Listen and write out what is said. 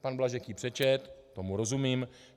Pan Blažek ji přečetl, tomu rozumím.